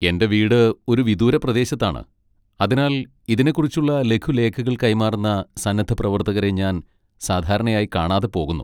എന്റെ വീട് ഒരു വിദൂര പ്രദേശത്താണ്, അതിനാൽ ഇതിനെക്കുറിച്ചുള്ള ലഘുലേഖകൾ കൈമാറുന്ന സന്നദ്ധപ്രവർത്തകരെ ഞാൻ സാധാരണയായി കാണാതെ പോകുന്നു.